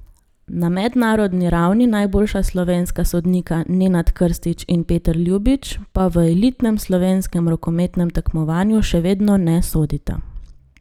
Na mednarodni ravni najboljša slovenska sodnika Nenad Krstič in Peter Ljubič pa v elitnem slovenskem rokometnem tekmovanju še vedno ne sodita.